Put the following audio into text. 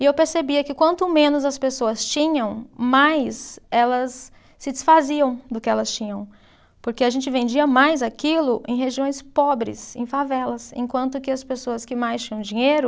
E eu percebia que quanto menos as pessoas tinham, mais elas se desfaziam do que elas tinham, porque a gente vendia mais aquilo em regiões pobres, em favelas, enquanto que as pessoas que mais tinham dinheiro,